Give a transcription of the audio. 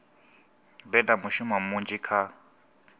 vhe na mushumo munzhi kha